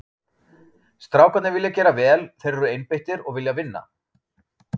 Strákarnir vilja gera vel, þeir eru einbeittir og vilja vinna.